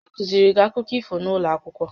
A kụziiri gị akụkọ ifo n'ụlọ akwụkwọ?